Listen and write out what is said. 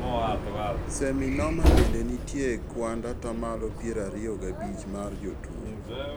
Seminoma bende nitie e kuand atamalo piero ariyo gabich mar jotuo